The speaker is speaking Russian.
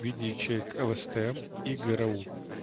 видео чек элестем и гру